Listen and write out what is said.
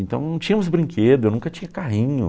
Então, não tínhamos brinquedo, eu nunca tinha carrinho.